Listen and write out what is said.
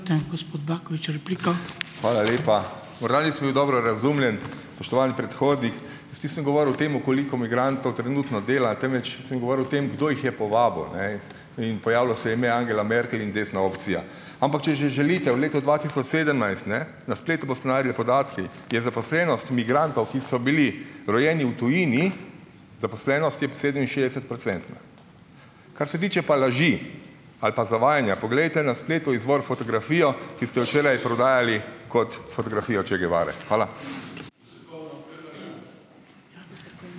Hvala lepa. Morda nisem bil dobro razumljen, spoštovani predhodnik. Jaz nisem govoril o tem, koliko migrantov trenutno dela, temveč sem govoril o tem, kdo jih je povabil, ne, in pojavilo se je ime Angela Merkel in desna opcija. Ampak če že želite, v letu dva tisoč sedemnajst, ne, na spletu boste našli podatke, je zaposlenost migrantov, ki so bili rojeni v tujini, zaposlenost je sedeminšestdesetprocentna. Kar se tiče pa laži ali pa zavajanja, poglejte na spletu izvor fotografije, ki ste jo včeraj prodajali kot fotografijo Che Guevare. Hvala.